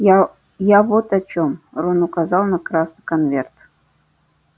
я я вот о чем рон указал на красный конверт